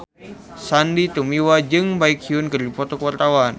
Sandy Tumiwa jeung Baekhyun keur dipoto ku wartawan